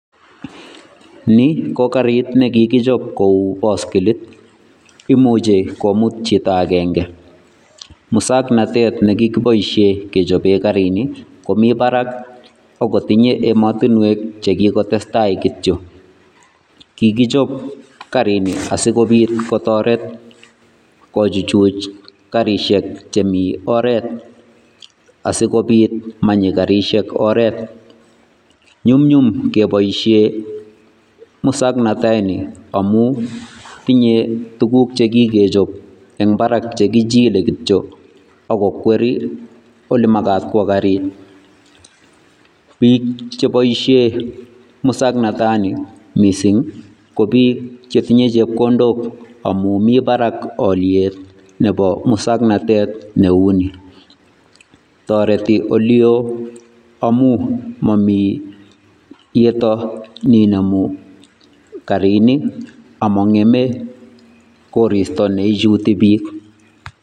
Nii ko karit nekikichob Kouu boskilit imuche komut chito akeng'e musoknotet nekikoboishen kechoben karini ko barak ak kotinyee emotinwek chekikotestai kityo kikichob karini asikobit kotoret kochuchuch karishek chemii oreet asikobit manyii karishek oreet nyumnyum keboishe musoknotoni amun tinyee tukuk chekikechob en barak chekichile kityo ak ko kwerii olemakat kwoo karit, biik cheboishen musoknotoni mising ko biik chetinye chepkondok amun miten barak oliet Nebo musoknotet neuni, toreti olio amun momii yetoo neinemu karini among'eme koristo neichuti biik.